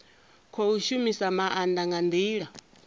khou shumisa maanda nga ndila